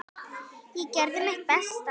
Ég gerði mitt besta.